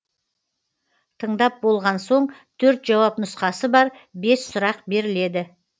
тыңдап болған соң төрт жауап нұсқасы бар бес сұрақ беріледі